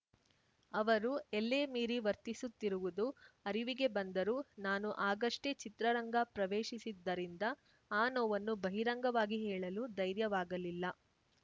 ಅವರು ಎಲ್ಲೇ ಮೀರಿ ವರ್ತಿಸುತ್ತಿರುವುದು ಅರಿವಿಗೆ ಬಂದರೂ ನಾನು ಆಗಷ್ಟೇ ಚಿತ್ರರಂಗ ಪ್ರವೇಶಿಸಿದ್ದರಿಂದ ಆ ನೋವನ್ನು ಬಹಿರಂಗವಾಗಿ ಹೇಳಲು ಧೈರ್ಯವಾಗಲಿಲ್ಲ